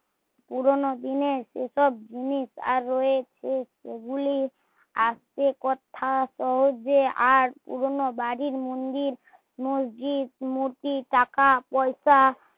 পুরোনো দিনের সে সব জিনিস আর এ সে গুলি আস্তে কথা কয় যে আর পুরোনো বাড়ি মন্দির মসজিদ নদী টাকা পয়সা